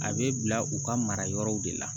A bɛ bila u ka mara yɔrɔw de la